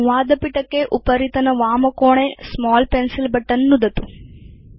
संवादपिटके उपरितनवामकोणे small pencil button नुदतु